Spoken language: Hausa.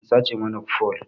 An sace mana fole